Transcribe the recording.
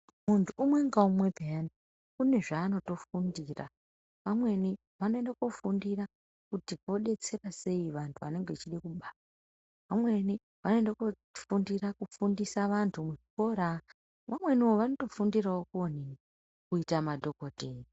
Muntu umwe ngaumwe peyani une zvaanotofundira. Vamweni vanoenda koofundira kuti vodetsera sei vantu vanenge vachide kubara. Vamweni voenda koofundira kufundisa vantu muzvikora. Vamweniwo vanotofundirawo kuonini, kuita madhokodheya.